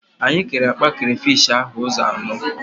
Anyị kere akpa krafish ahụ ụzọ anọ